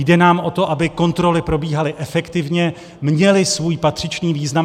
Jde nám o to, aby kontroly probíhaly efektivně, měly svůj patřičný význam.